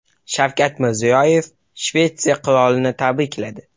Shavkat Mirziyoyev Shvetsiya qirolini tabrikladi.